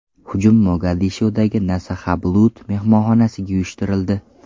Hujum Mogadishodagi Nasahablood mehmonxonasiga uyushtirildi.